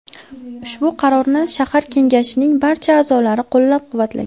Ushbu qarorni shahar kengashining barcha a’zolari qo‘llab-quvvatlagan.